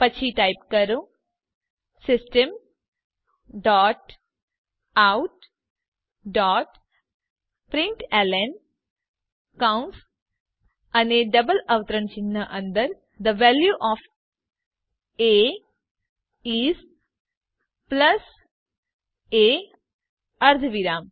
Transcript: પછી ટાઇપ કરો system dot out dot println કૌંસ અને ડબલ અવતરણ ચિહ્ન અંદર the value of a is plus a અર્ધવિરામ